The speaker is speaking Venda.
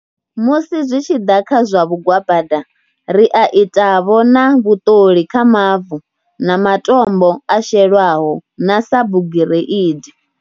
Musi zwi tshi ḓa kha zwa vhugwabada, ri a itavho na vhuṱoli kha mavu na matombo a shelwaho na sa bugireidi.